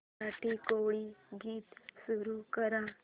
मराठी कोळी गीते सुरू कर